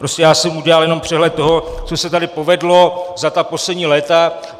Prostě já jsem udělal jenom přehled toho, co se tady povedlo za ta poslední léta.